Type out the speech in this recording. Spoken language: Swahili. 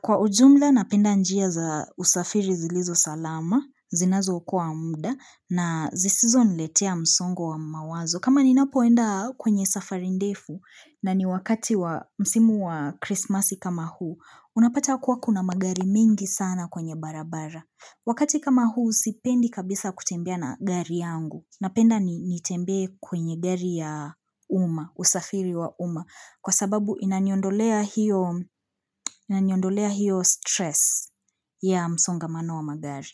Kwa ujumla napenda njia za usafiri zilizo salama, zinazo ukua muda na zisizo niletea msongo wa mawazo. Kama ninapoenda kwenye safari ndefu na ni wakati wa msimu wa krismasi kama huu, unapata kuwa kuna magari mingi sana kwenye barabara. Wakati kama huu sipendi kabisa kutembea na gari yangu napenda nitembe kwenye gari ya uma, usafiri wa uma kwa sababu inaniondolea hiyo stress ya msongamano wa magari.